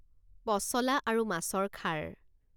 পচলা আৰু মাছৰ খাৰ